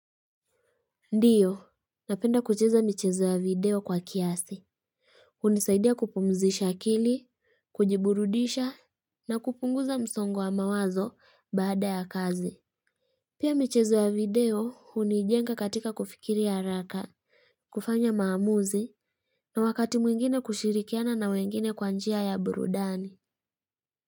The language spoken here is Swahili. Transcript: Ndio napenda kucheza michezo ya video kwa kiasi. Unisaidia kupumzisha akili, kujiburudisha, na kupunguza msongo wa mawazo baada ya kazi. Pia michezo ya video, unijenga katika kufikiri haraka, kufanya maamuzi, na wakati mwingine kushirikiana na mwingine kwanjia ya burudani.